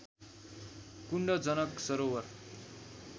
कुण्ड Janak सरोवर